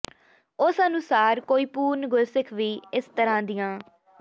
ਉਸ ਅਨੁਸਾਰ ਕੋਈ ਪੂਰਨ ਗੁਰਸਿੱਖ ਵੀ ਇਸ ਤਰ੍ਹਾਂ ਦੀਆਂ